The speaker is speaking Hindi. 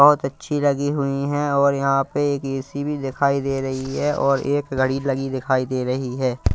बहोत अच्छी लगी हुई हैं और यहाँ पे एक ए_सी भीं दिखाई दे रहीं हैं और एक घड़ी लगी दिखाई दे रहीं हैं।